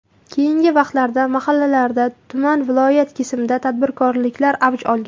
Keyingi vaqtlarda mahallalarda, tuman, viloyat kesimida tadbirbozliklar avj olgan?